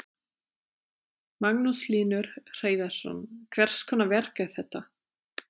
Magnús Hlynur Hreiðarsson: Hvers konar verk er þetta?